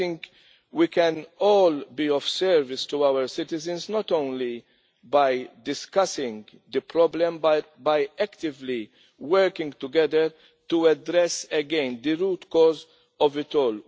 I think we can all be of service to our citizens not only by discussing the problem, but by actively working together to address again the root cause of it all.